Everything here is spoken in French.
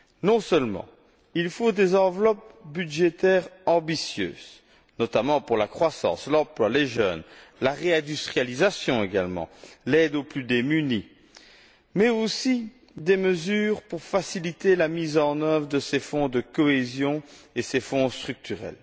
Non seulement, il faut des enveloppes budgétaires ambitieuses, notamment pour la croissance, l'emploi, les jeunes, la réindustrialisation également, l'aide aux plus démunis, mais aussi des mesures pour faciliter la mise en œuvre de ces Fonds de cohésion et de ces Fonds structurels.